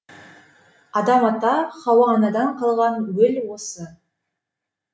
адам ата һауа анадан қалған уіл осы